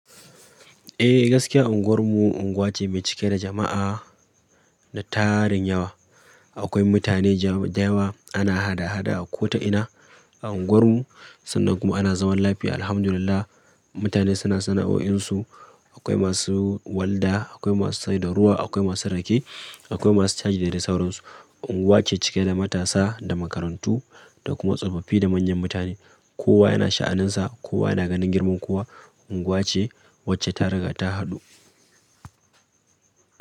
Eh gaskiya unguwar mu unguwa ce mai cike da jama'a na tarin yawa. Akwai mutane da yawa ana hada-hada a kota ina a unguwar mu sannan kuma ana zaman lafiya Alhamdulillah. Mutane suna sana'o'in su, akwai masu walda, akwai masu saida ruwa, akwai masu rake, akwai masu caji da dai sauran su. Unguwa ce cike da matasa, da makarantu da kuma tsofaffi da manyan mutane. Kowa yana sha'anin sa, kowa yana ganin girman kowa. Unguwa ce wacce ta riga ta haɗu.